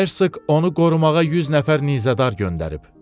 Hersk onu qorumağa 100 nəfər nizədar göndərib.